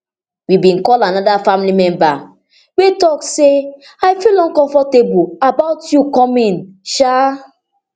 we bin call anoda family member wey tok say i feel uncomfortable about you coming um